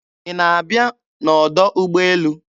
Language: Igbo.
Ị na-abịa n'ọdọ ụgbọelu?